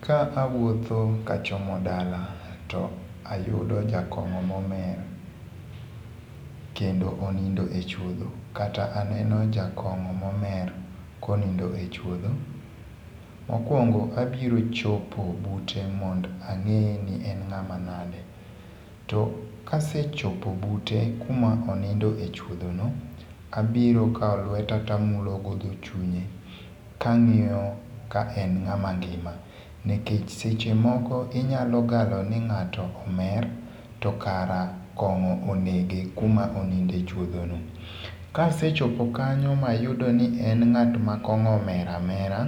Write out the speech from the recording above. Ka awuotho kachomo dala, to ayudo jakong'o momer kendo onindo e chuodho, kata aneno jakong'o momer konindo e chuodho, mokuongo abiro chopo bute mondo ang'e ni en ng'ama nade to kasee chopo bute kuma oninde echuodho no, abiro kawo lueta tamulogo dho chunye kang'iyo kaen ng'ama ngima nikech seche moko inyalo galo ni ng'ato omer tokara kong'o onege kuma onindee echuodhono. Kasee chopo kanyo mayudo ni en ng'at makong'o omero amera,